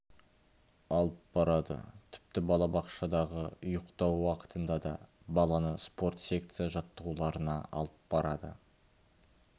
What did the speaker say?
алып барады тіпті балабақшадағы ұйықтау уақытында да баланы спорт секция жаттығуларына алып барады